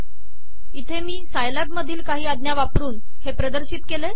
इथे मी सायलॅब मधील काही अाज्ञा वापरून हे प्रदर्शित केले